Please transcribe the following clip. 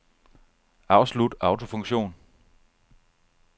Afslut autofunktion.